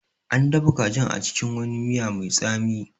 An dafa kajin a cikin wani miya mai tsami